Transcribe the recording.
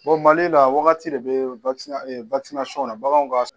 Mali la waagati de bɛ baganw ka.